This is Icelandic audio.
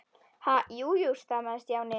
Ha- jú, jú stamaði Stjáni.